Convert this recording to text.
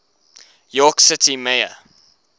york city mayor